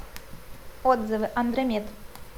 отзывы андромед